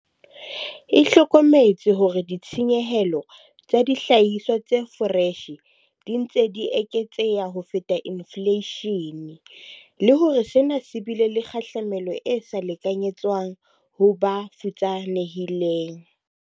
E hlokometse hore ditshenyehelo tsa dihlahiswa tse foreshe di ntse di eketseha ho feta infleishene, le hore sena se bile le kgahlamelo e sa lekanyetswang ho ba futsanehileng.